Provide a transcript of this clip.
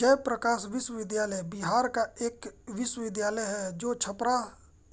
जयप्रकाश विश्वविद्यालय बिहार का एक विश्वविद्यालय है जो छपरा